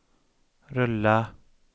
rulla